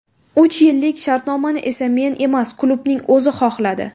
Uch yillik shartnomani esa men emas, klubning o‘zi xohladi.